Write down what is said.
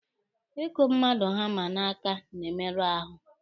Ịkụ mmadụ hama n'aka na-emerụ ahụ.